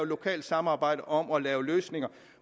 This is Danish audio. lokalt samarbejde om at lave løsninger